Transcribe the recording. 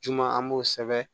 Juma an b'o sɛbɛn